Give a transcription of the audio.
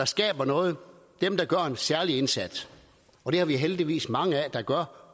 skaber noget dem der gør en særlig indsats og det er der heldigvis mange der gør